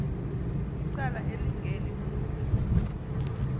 icala elingeni kuzo